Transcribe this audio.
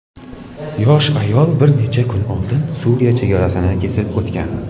yosh ayol bir necha kun oldin Suriya chegarasini kesib o‘tgan.